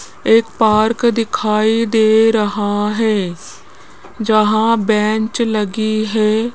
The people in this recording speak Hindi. एक पार्क दिखाई दे रहा है जहां बेंच लगी है।